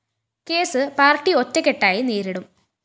case party ഒറ്റക്കെട്ടായി നേരിടും